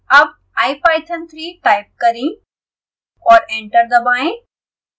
अब ipython3 type करें और एंटर दबाएं